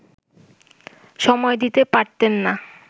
সময় দিতে পারতেন না